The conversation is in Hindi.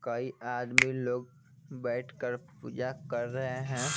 कई आदमी लोग बैठकर पूजा कर रहे हैं।